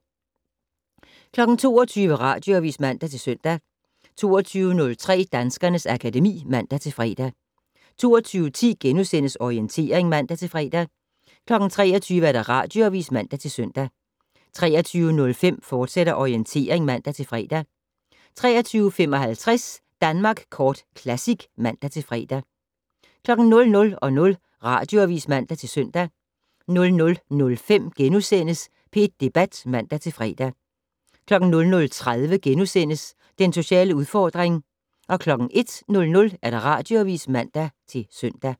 22:00: Radioavis (man-søn) 22:03: Danskernes akademi (man-fre) 22:10: Orientering *(man-fre) 23:00: Radioavis (man-søn) 23:05: Orientering, fortsat (man-fre) 23:55: Danmark Kort Classic (man-fre) 00:00: Radioavis (man-søn) 00:05: P1 Debat *(man-fre) 00:30: Den sociale udfordring * 01:00: Radioavis (man-søn)